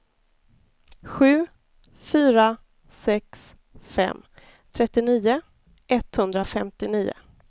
sju fyra sex fem trettionio etthundrafemtionio